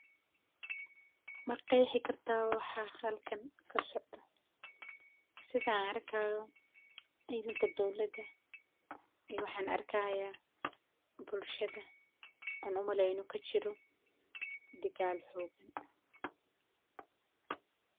Ma qexi karta wxa halkan kasocdo sothan arkayo cidanka dowdalada iyo wxan anrkaya bulshada onumaleyno inu kajiro digal xogan.